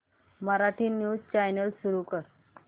Marathi news channel सुरू कर